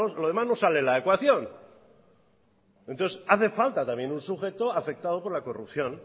lo demás no sale la ecuación entonces hace falta también un sujeto afectado por la corrupción